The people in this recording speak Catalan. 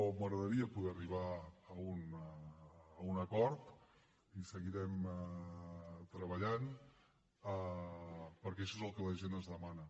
m’agradaria poder arribar a un acord i seguirem treballant perquè això és el que la gent ens demana